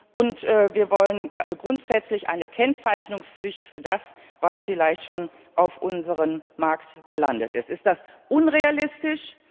Und wir wollen grundsätzlich eine Kennzeichnungspflicht für das, was vielleicht schon auf unserem Markt gelandet ist. Ist das unrealistisch?